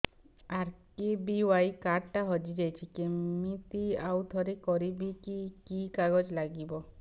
RKBY card ଟା ହଜିଯାଇଛି କିମିତି ଆଉଥରେ କରିବି କି କି କାଗଜ ଲାଗିବ